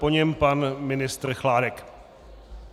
Po něm pan ministr Chládek.